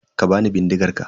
Ka bani bindigar ka.